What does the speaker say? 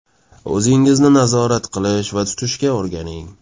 O‘zingizni nazorat qilish va tutishga o‘rganing.